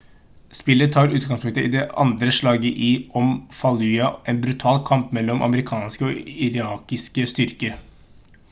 spillet tar utgangspunkt i det andre slaget om fallujah en brutal kamp mellom amerikanske og irakiske styrker